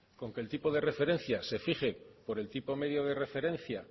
con que el tipo de referencia se fije por el tipo medio de referencia